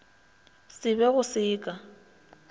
se be go se ka